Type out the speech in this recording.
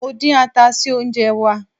Mo dín ata sí oúnjẹ wá.